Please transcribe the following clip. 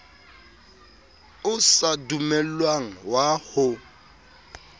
o sa dumellwang wa ho